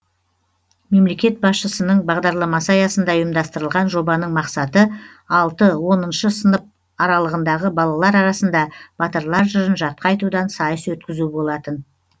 мемлекет басшысының бағдарламасы аясында ұйымдастырылған жобаның мақсаты алты оныншы сынып аралығындағы балалар арасында батырлар жырын жатқа айтудан сайыс өткізу болатын